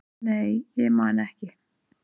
nei, ég man ekki